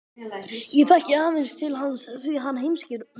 Ég þekki aðeins til hans því hann heimsækir mömmu